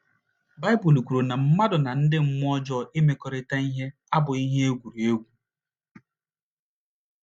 Baịbụl kwuru na mmadụ na ndị mmụọ ọjọọ imekọrịta ihe abụghị ihe egwuregwu.